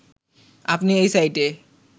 আপনি এই সাইটে